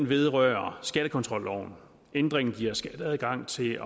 vedrører skattekontrolloven ændringen giver skat adgang til